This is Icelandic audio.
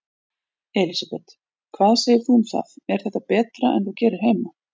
Elísabet: Hvað segir þú um það, er þetta betra en þú gerir heima?